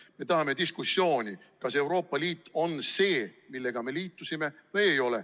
Me tahame diskussiooni, kas Euroopa Liit on see, millega me liitusime või ei ole.